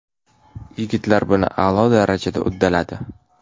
Yigitlar buni a’lo darajada uddaladi”.